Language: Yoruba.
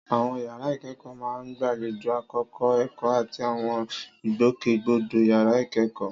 Àwọn yàrá ìkẹ́kọ̀ọ́ máa ń gbàlejò àkókò ẹ̀kọ́ àti àwọn ìgbòkègbodò yàrá ìkẹ́kọ̀ọ́.